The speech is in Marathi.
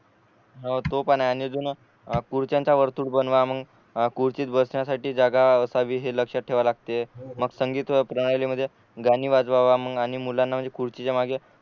हो तो पण आहे आणि जून आ खुर्च्यांच वर्तुळ बनवा मग खुर्चीत बसण्यासाठी जागा असावी हे लक्षात ठेवा लागते मग संगीत प्रणालीमध्ये गाणी वाजवाव मग आणि मुलांना म्हणजे खुर्चीच्या मागे